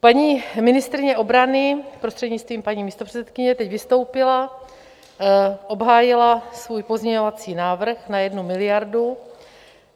Paní ministryně obrany, prostřednictvím paní místopředsedkyně, teď vystoupila, obhájila svůj pozměňovací návrh na 1 miliardu.